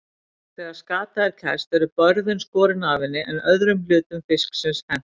Þegar skata er kæst eru börðin skorin af henni en öðrum hlutum fisksins hent.